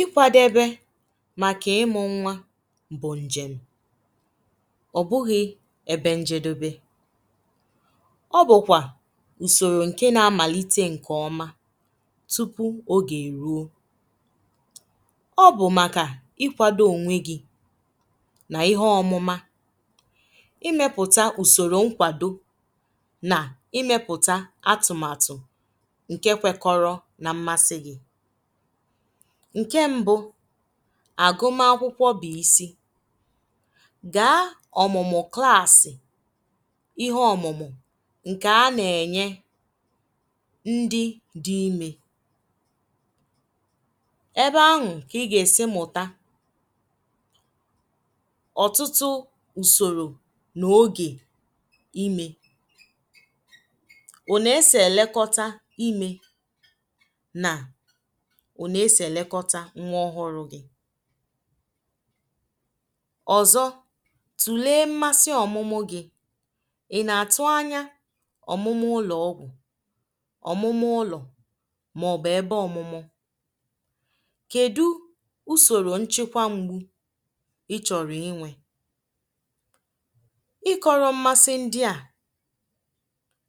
Ikwàdebè màkà ịmụ̀ nwà bụ̀ njem’ ọ bụghị̀ ebe njèdebè ọ bụkwà usorò nkè na-amalitè nkè ọmà tupù ogē eruò ọ nụ̀ màkà ikwàdò onwè gì n’ihè ọmà imèputà usorò nkwadò nà imèputà atụmatụ̀ nkè kwekọ̀rọ̀ nà mmasị̀ gị̀ nkè mbụ̀ agụ̀mà akwụkwọ̀ bụ̀ isi aaa ọmụ̀mụ̀ klaasị̀ ihe ọmụ̀mụ̀ nkè a na-enyè ndị̀ dị̀ imè ebe ahụ̀ kà ị ga-esì mụ̀tà ọtụtụ usorò n’ogē imè onè e sì elekọ̀tà imè nà onè e sì elekòtà nwà ọhụrụ̀ gị̀ ọzọ̀ tulè mmasị̀ ọmụ̀mụ̀ gị̀ ị na-atụ̀ anya ọ mụ̀mụ̀ ụlọ̀ ọgwụ̀ ọmụ̀mụ̀ ụlọ̀ maọ̀bụ̀ ebe ọmụ̀mụ̀ kedu usorò nchekwà ngbù ị chọrọ̀ inwè ịkọ̀rọ̀ mmasị̀ ndị à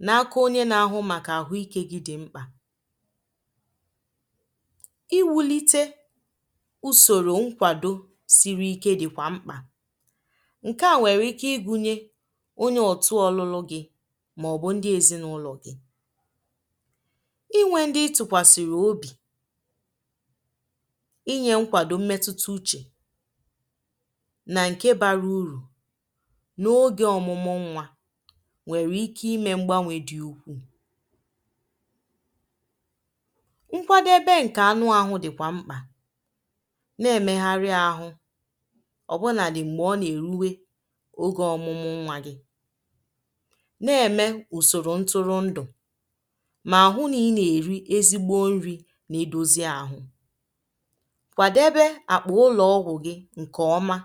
n’akà onyè na-ahụ̀ màkà ahụ̀ ike gì dị̀ m̄kpà iwùlitè usorò nkwadò sirì ike dị̀kwà m̄kpà nke à nwerè ike igùnyè onyè otù ọlụ̀lụ̀ gị̀ maọ̀bụ̀ ndị̀ ezìnàụ̀lọ̀ gị̀ inwè ndị̀ ịtụ̀kwasịrị̀ obi inyè nkwàdò mmetutù uchè nà nkè barà urù n’ogè ọmụ̀mụ̀ nwà nwerè ikè imè m̄gbanwè dị̀ u nkwàdebè nkè anụ̀ ahụ̀ dịkwà ṃkpà na-emeghàrịà ahụ̀ ọ bụ̀ na-adị̀ m̄gbè ọ na-eruwè ogē ọmụ̀mụ̀ nwà gị̀ na-emè usorò ntụrụ̀ ndụ̀ mà hụ̀ nà ị na-erì ezigbò nrì na-edozì ahụ̀ kwàdebè akpà ụlọ̀ ọgwụ̀ gị̀ nkè ọmà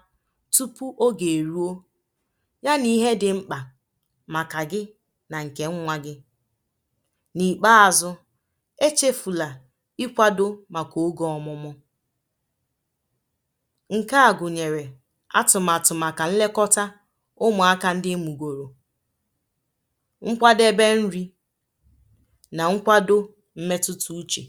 tupù ogē eruò naanị̀ ihe di m̄kpà màkà gị̀ nà nkè nwà gị̀ n’ikpeazụ̀ e chefùlà ikwàdò màkà ogē ọmụmụ̀ nke à gunyerè atụmàatụ̀ màkà nlekotà ụmụ̀akà ndị̀ ịmụ̀gorò nkwadebè nrì nà nkwàdò mmetutù uchè